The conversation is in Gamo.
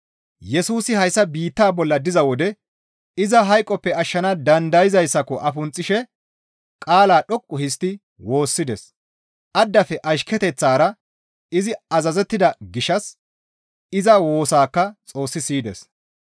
Yesusi hayssa biittaa bolla diza wode iza hayqoppe ashshana dandayzayssako afunxxishe qaala dhoqqu histti woossides. Addafe ashketeththara izi azazettida gishshas iza woosaakka Xoossi siyides.